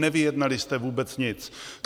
Nevyjednali jste vůbec nic!